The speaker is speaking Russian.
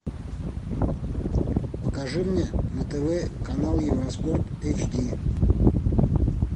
покажи мне на тв канал евроспорт эйч ди